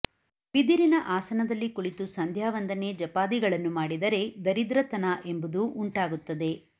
ಬಿದಿರಿನ ಆಸನದಲ್ಲಿ ಕುಳಿತು ಸಂಧ್ಯಾವಂದನೆ ಜಪಾದಿಗಳನ್ನು ಮಾಡಿದರೆ ದರಿದ್ರ ತನ ಎಂಬುದು ಉಂಟಾಗುತ್ತದೆ